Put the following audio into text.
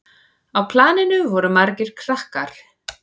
Á planinu voru margir krakkar.